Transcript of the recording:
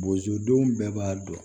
Bozodenw bɛɛ b'a dɔn